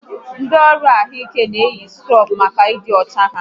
Ndị ọrụ ahụike na-eyi skrub maka ịdị ọcha ha